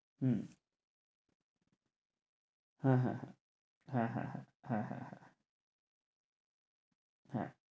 হম হ্যাঁ হ্যাঁ হ্যাঁ হ্যাঁ হ্যাঁ হ্যাঁ হ্যাঁ হ্যাঁ হ্যাঁ